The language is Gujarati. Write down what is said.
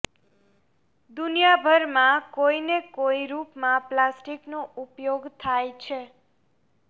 દુનીયા ભર માં કોઈ ને કોઈ રૂપ માં પ્લાસ્ટિક નો ઉપયોગ થાય છે